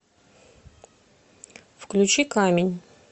включи камень